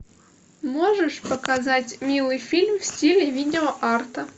можешь показать милый фильм в стиле видеоарта